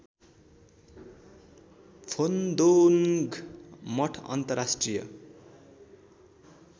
फोन्दोन्ग मठ अन्तर्राष्ट्रिय